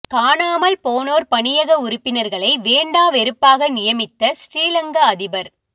காணாமல் போனோர் பணியக உறுப்பினர்களை வேண்டா வெறுப்பாக நியமித்த சிறிலங்கா அதிபர்